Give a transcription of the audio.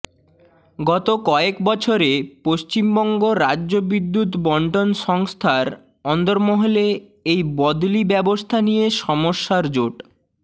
গত কয়েক বছরে পশ্চিমবঙ্গ রাজ্য বিদ্যুৎ বণ্টন সংস্থার অন্দরমহলে এই বদলি ব্যবস্থা নিয়ে সমস্যার জট